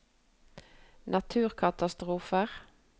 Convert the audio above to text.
naturkatastrofer